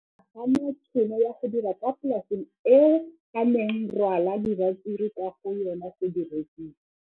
O ne a gana tšhono ya go dira kwa polaseng eo a neng rwala diratsuru kwa go yona go di rekisa.